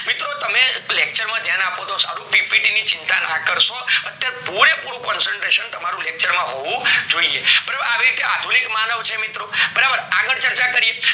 મિત્રો તમે lecture માં ધ્યાન આપો તો સારું PPT ની ચિંતા ના કારસો અત્યારે પૂરે પૂરું concentration તમારું lecture માં હોવું જોઈએ બરાબર આવી રીતે આધુનિક માનવ છે મિત્રો બરાબર આગળ ચર્ચા કરીએ